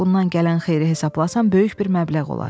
Bundan gələn xeyiri hesablasan, böyük bir məbləğ olar.